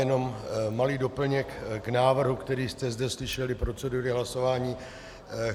Jenom malý doplněk k návrhu, který jste zde slyšeli, procedury hlasování.